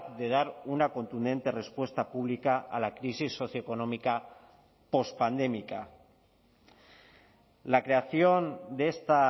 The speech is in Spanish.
de dar una contundente respuesta pública a la crisis socioeconómica pospandémica la creación de esta